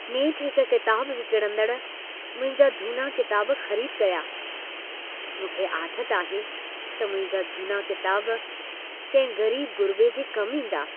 नेठ हिक किताब विकणंदड़ मुंहिंजा झूना किताब ख़रीद कया। मूंखे आथत आहे त मुंहिंजा झूना किताब कंहिं ग़रीब-ग़ुरिबे जे कम ईंदा।